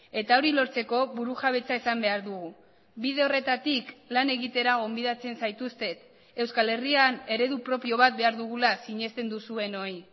eta hori lortzeko burujabetza izan behar dugu bide horretatik lan egitera gonbidatzen zaituztet euskal herrian eredu propio bat behar dugula sinesten duzuenoi